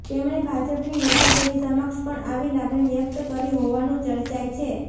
તેમણે ભાજપની નેતાગીરી સમક્ષ પણ આવી લાગણી વ્યક્ત કરી હોવાનું ચર્ચાય છે